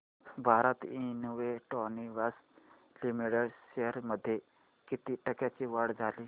Bharat electronics limited shares मध्ये किती टक्क्यांची वाढ झाली